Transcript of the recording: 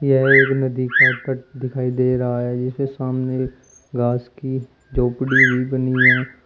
यह एक नदी का तट दिखाई दे रहा है जिसके सामने घास की झोपड़ी भी बनी है।